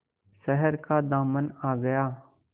शहर का दामन आ गया